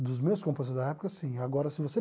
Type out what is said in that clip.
Dos meus compositores da época, sim, agora, se você